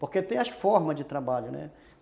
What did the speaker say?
Porque tem as formas de trabalho, né?